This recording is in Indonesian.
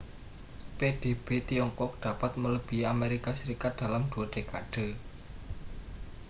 pdb tiongkok dapat melebihi amerika serikat dalam dua dekade